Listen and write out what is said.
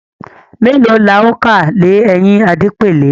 mèlòó là o ká lè ẹyìn Adepele